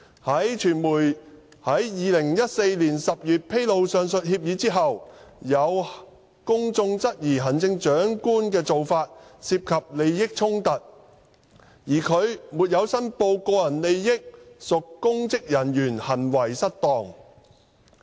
在傳媒於2014年10月披露上述協議後，有公眾質疑行政長官的做法涉及利益衝突，而他沒有申報個人利益屬公職人員行為失當。